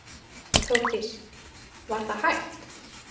Þórdís: var það hægt?